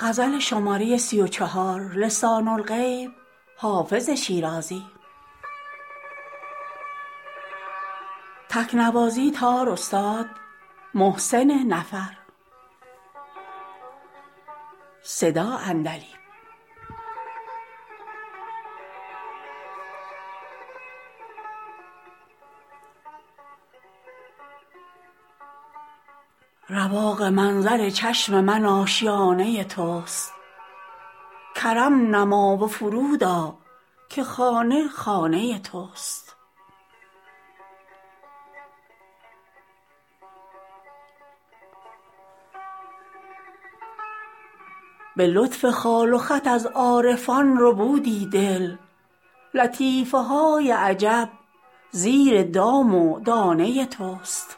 رواق منظر چشم من آشیانه توست کرم نما و فرود آ که خانه خانه توست به لطف خال و خط از عارفان ربودی دل لطیفه های عجب زیر دام و دانه توست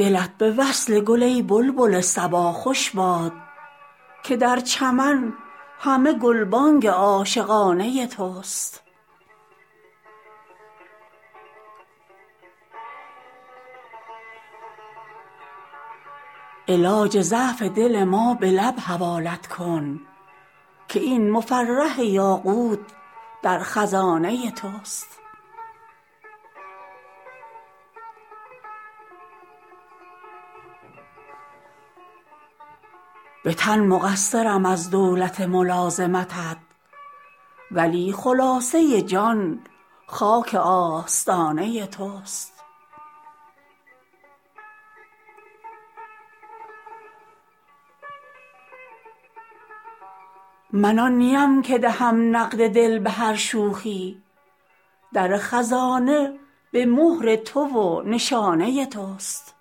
دلت به وصل گل ای بلبل صبا خوش باد که در چمن همه گلبانگ عاشقانه توست علاج ضعف دل ما به لب حوالت کن که این مفرح یاقوت در خزانه توست به تن مقصرم از دولت ملازمتت ولی خلاصه جان خاک آستانه توست من آن نیم که دهم نقد دل به هر شوخی در خزانه به مهر تو و نشانه توست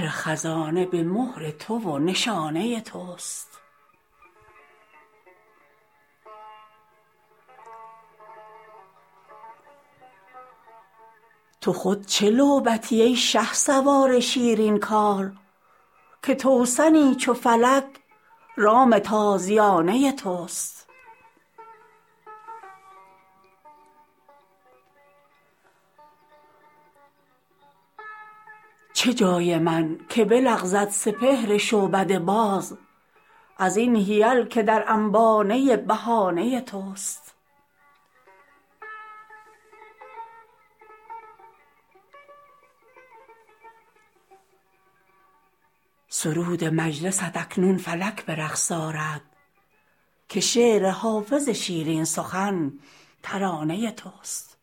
تو خود چه لعبتی ای شهسوار شیرین کار که توسنی چو فلک رام تازیانه توست چه جای من که بلغزد سپهر شعبده باز از این حیل که در انبانه بهانه توست سرود مجلست اکنون فلک به رقص آرد که شعر حافظ شیرین سخن ترانه توست